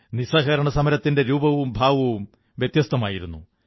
നിസ്സഹകരണസമരത്തിന്റെ രൂപവും ഭാവവും വ്യത്യസ്ഥമായിരുന്നു